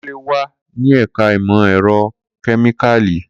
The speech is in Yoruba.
Kunle wa ni ẹka imọ-ẹrọ kemikali